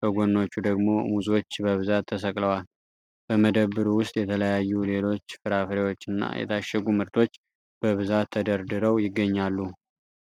በጎኖቹ ደግሞ ሙዞች በብዛት ተሰቅለዋል። በመደብሩ ውስጥ የተለያዩ ሌሎች ፍራፍሬዎችና የታሸጉ ምርቶች በብዛት ተደርድረው ይገኛሉ።